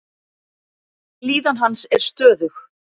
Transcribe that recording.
Líðan hans er stöðug.